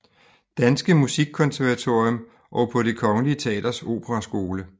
Danske Musikkonservatorium og på Det Kongelige Teaters operaskole